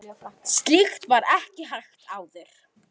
Slíkt var ekki hægt áður.